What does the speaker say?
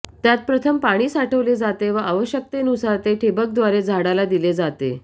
त्यात प्रथम पाणी साठवले जाते व आवश्यकतेनुसार ते ठिबकद्वारे झाडाला दिले जाते